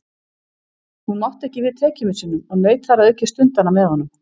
Hún mátti ekki við tekjumissinum og naut þar að auki stundanna með honum.